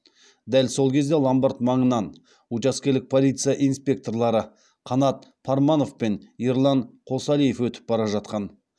дәл сол кезде ломбард маңынан учаскелік полиция инспекторлары қанат парманов пен ерлан қосалиев өтіп бара жатқан